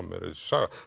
saga